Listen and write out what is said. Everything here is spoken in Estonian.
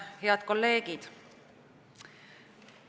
Head kolleegid!